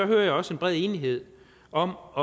hører jeg også en bred enighed om at